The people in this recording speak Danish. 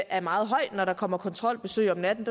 er meget høj når der kommer kontrolbesøg om natten